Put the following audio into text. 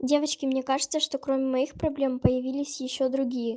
девочки мне кажется что кроме моих проблем появились ещё другие